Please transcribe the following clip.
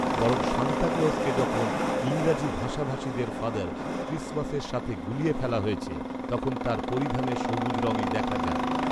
বরং Santa Claus কে যখন ইংরেজি ভষাভাষিদের ফাদার খ্রিসমাসের সাথে গুলিয়ে ফেলা হয়েছে , তখন তার পরিধানের সবুজ রঙই দেখা যায়